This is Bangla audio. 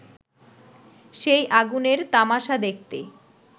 সেই আগুনের তামাশা দেখতে